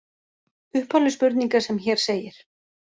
Upphafleg spurning er sem hér segir: